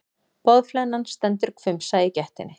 Boðflennan stendur hvumsa í gættinni.